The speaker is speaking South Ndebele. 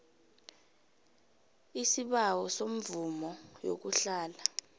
aisibawo semvumo yokuhlala